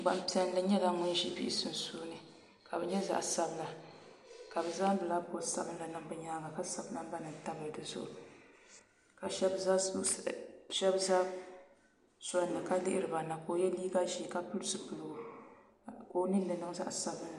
Gbampiɛlli nyɛla ŋun ʒi bihi sunsuuni ka bɛ nyɛ zaɣ' sabila ka bɛ zaŋ bilaabɔdi sabinli zali bɛ nyaaŋa ka sabi nambanima tabili di zuɣu ka shɛba za soli ni ka lihiri ba na ka o ye liiga ʒee ka pili zupiligu ka o ninni niŋ zaɣ' sabinli